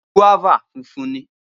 guaba funfun ni.